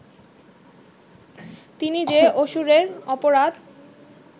তিনি যে অসুরের অপরাধ